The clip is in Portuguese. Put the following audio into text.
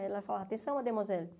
Ela falava, atenção, Mademoiselle.